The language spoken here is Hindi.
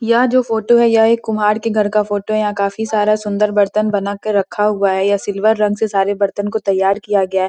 यह जो फोटो है यह एक कुम्हार के घर का फोटो है यहाँ काफ़ी सारा सुंदर बर्तन बना कर रखा हुआ है यह सिल्वर रंग से सारे बर्तन को तैयार किया गया है।